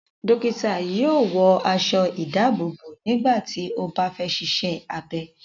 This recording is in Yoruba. Dọ́kítá yóò wọ aṣọ-ìdáàbòbò nígbà tí ó bá fẹ́ ṣiṣẹ́ abẹ.